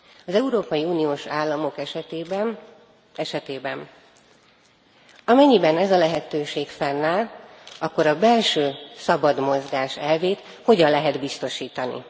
Az európai uniós államok esetében, amennyiben ez a lehetőség fennáll, a belső szabad mozgás elvét hogyan lehet biztosítani?